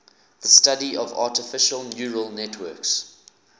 the study of artificial neural networks